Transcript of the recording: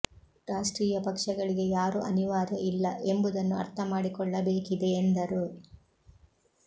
ರಾಷ್ಟ್ರೀಯ ಪಕ್ಷಗಳಿಗೆ ಯಾರು ಅನಿವಾರ್ಯ ಇಲ್ಲ ಎಂಬುದನ್ನು ಅರ್ಥ ಮಾಡಿಕೊಳ್ಳಬೇಕಿದೆ ಎಂದರು